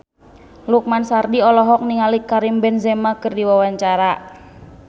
Lukman Sardi olohok ningali Karim Benzema keur diwawancara